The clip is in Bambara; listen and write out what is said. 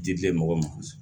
Dibi mɔgɔ ma